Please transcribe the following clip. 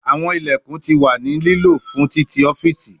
Awọn ilẹkun ti wa ni lilo fun titi ọfiisi